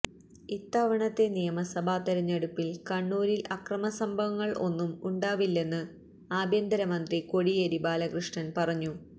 ഇത്തവണത്തെ നിയമസഭാ തെരഞ്ഞെടുപ്പില് കണ്ണൂരില് അക്രമസംഭവങ്ങള് ഒന്നും ഉണ്ടാവില്ലെന്ന് ആഭ്യന്തരമന്ത്രി കോടിയേരി ബാലകൃഷ്ണന് പറഞ്ഞു